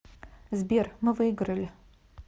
сбер мы выиграли